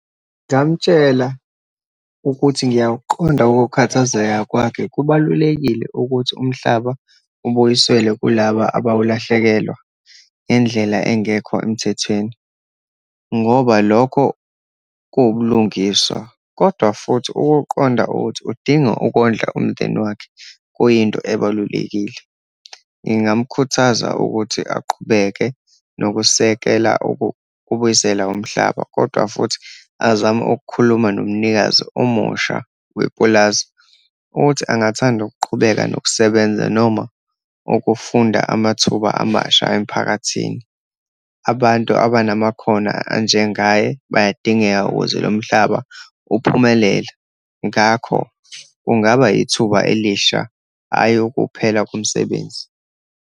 Ngamtshela ukuthi ngiyakuqonda ukukhathazeka kwakhe. Kubalulekile ukuthi umhlaba ubuyiselwe kulaba abawulahlekelwa ngendlela engekho emthethweni, ngoba lokho kuwubulungiswa. Kodwa futhi ukuqonda ukuthi udinga ukondla umndeni wakhe, kuyinto ebalulekile. Ngingamkhuthaza ukuthi aqhubeke nokusekela ukubuyisela umhlaba, kodwa futhi azame ukukhuluma nomnikazi omusha wepulazi, ukuthi angathanda ukuqhubeka nokusebenza, noma ukufunda amathuba amasha emphakathini. Abantu abanamakhono anjengaye bayadingeka ukuze lo mhlaba uphumelela. Ngakho kungaba ithuba elisha, hhayi ukuphela komsebenzi.